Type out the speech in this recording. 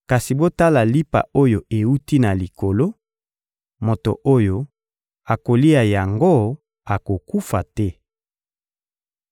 kasi botala lipa oyo ewuti na Likolo; moto oyo akolia yango akokufa te.